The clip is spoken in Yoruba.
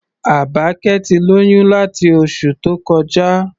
Àbákẹ́ ti lóyún láti oṣù tó kọjá.